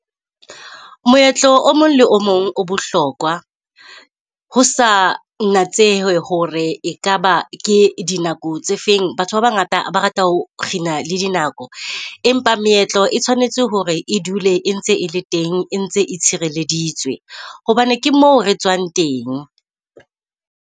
Moetlo o mong le o mong o bohlokwa ho sa natsehe hore ekaba ke dinako tse feng. Batho ba bangata ba rata ho kgina le dinako, empa meetlo e tshwanetse hore e dule e ntse e le teng, e ntse e tshireleditswe hobane ke mo re tswang teng.